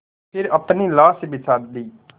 फिर अपनी लाश बिछा दी